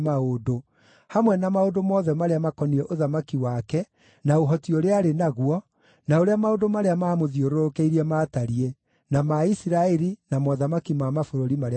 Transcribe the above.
hamwe na maũndũ mothe marĩa maakoniĩ ũthamaki wake na ũhoti ũrĩa aarĩ naguo, na ũrĩa maũndũ marĩa maamũthiũrũrũkĩirie maatariĩ na ma Isiraeli na mothamaki ma mabũrũri marĩa mangĩ mothe.